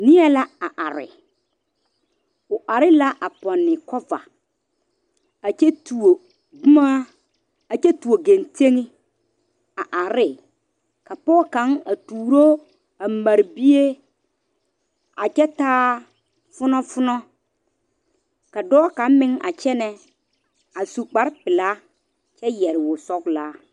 Nie la a are o are la a pɔnne la kova a kyɛ tuo boma a kyɛ tuo gantɛŋ a are ne ka pɔge kaŋa a tuuro a mare bie a kyɛ taa funofuno ka dɔɔ kaŋa meŋ a kyɛne a su kpare pelaa kyɛ yere woɔ sɔglaa.